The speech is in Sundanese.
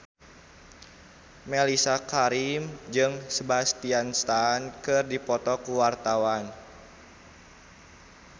Mellisa Karim jeung Sebastian Stan keur dipoto ku wartawan